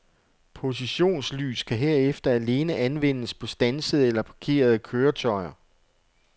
Positionslys kan herefter alene anvendes på standsede eller parkerede køretøjer.